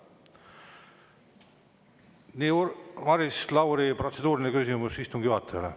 Nii, Maris Lauri, protseduuriline küsimus istungi juhatajale.